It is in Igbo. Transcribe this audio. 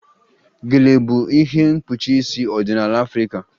Gele bụ ihe mkpuchi isi ọdịnala Afrịka